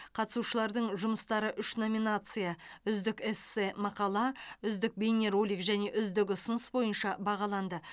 қатысушылардың жұмыстары үш номинация үздік эссе мақала үздік бейнеролик және үздік ұсыныс бойынша бағаланды